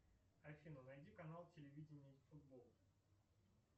афина найди канал телевидения футбол